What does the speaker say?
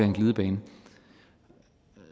en glidebane